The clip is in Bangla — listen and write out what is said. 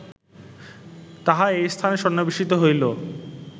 তাহা এই স্থানে সন্নিবেশিত হইল